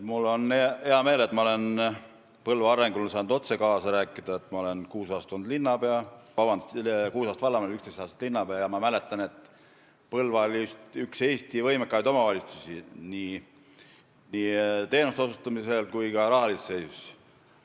Mul on hea meel, et ma olen Põlva arengus saanud otse kaasa rääkida – ma olen olnud kuus aastat vallavanem, 11 aastat linnapea –, ja ma mäletan, et Põlva oli üks Eesti võimekamaid omavalitsusi nii teenuste osutamisel kui ka rahalise seisu poolest.